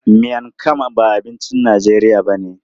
Miang kham ba abincin Najeriya ba ne.